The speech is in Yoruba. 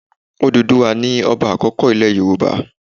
Òdùduwà ni ọba àkọ́kọ́ ilẹ̀ Yorùbá.